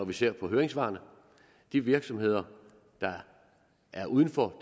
vi ser på høringssvarene at de virksomheder der er uden for